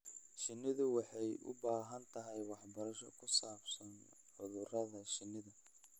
Shinnidu waxay u baahan tahay waxbarasho ku saabsan cudurrada shinnida.